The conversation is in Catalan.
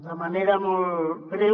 de manera molt breu